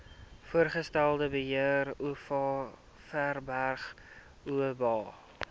voorgestelde breedeoverberg oba